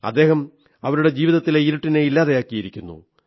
അദ്ദേഹം അവരുടെ ജീവിതത്തിലെ ഇരുട്ടിനെ ഇല്ലാതെയാക്കിയിരിക്കുന്നു